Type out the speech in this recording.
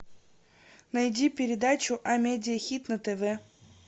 найди передачу амедиа хит на тв